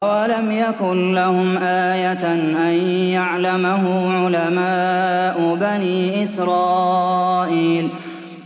أَوَلَمْ يَكُن لَّهُمْ آيَةً أَن يَعْلَمَهُ عُلَمَاءُ بَنِي إِسْرَائِيلَ